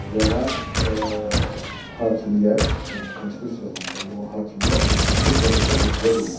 Və hakimiyyət, yəni konstitusiya ilə müəyyən olan hakimiyyət bu prosesə qoşula bilməz.